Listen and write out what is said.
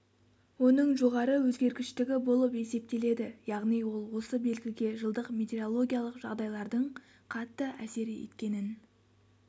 оның жоғары өзгергіштігі болып есептеледі яғни ол осы белгіге жылдық метерологиялық жағдайлардың қатты әсер еткенін